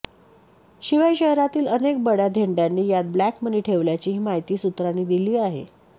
शिवाय शहरातील अनेक बड्या धेंडांनी यात ब्लॅक मनी ठेवल्याचीही माहिती सूत्रांनी दिली आहे